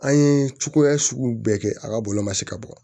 An ye cogoya sugu bɛɛ kɛ a ka bɔlɔlɔ masi ka bɔ